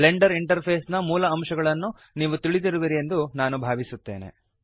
Blender interface ನ ಮೂಲ ಅಂಶಗಳನ್ನು ನೀವು ತಿಳಿದಿರುವಿರಿ ಎಂದು ನಾನು ಭಾವಿಸುತ್ತೇನೆ